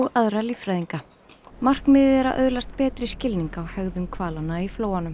aðra líffræðinga markmiðið er að öðlast betri skilning á hegðun hvalanna í flóanum